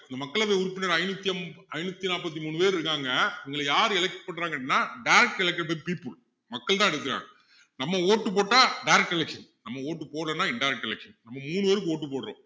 மக்களவை உறுப்பினர் ஐநூத்தி~ ஐநூத்தி நாற்பத்தி மூணு பேர் இருக்காங்க அதுல யாரு elect பண்றாங்கன்னா direct elected by people மக்கள்தான் எடுக்குறாங்க நம்ம vote உ போட்டா direct election நம்ம vote போடலைன்னா indirect election நம்ம மூணு பேருக்கு vote போடுறோம்